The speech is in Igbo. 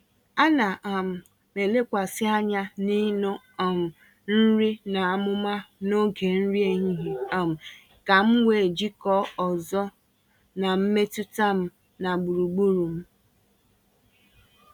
Ana um m elekwasị anya n’iṅụ um nri n’amụma n’oge nri ehihie um ka m wee jikọọ ọzọ na mmetụta m na gburugburu m.